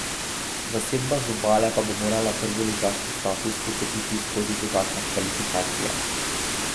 Zasedba z Obale pa bo morala prvoligaški status potrditi skozi dodatne kvalifikacije.